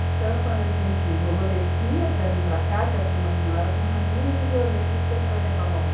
Então quando a gente, vovô descia para vir para cá, já tinha uma senhora com raminho de violetas para ele trazer para vovó.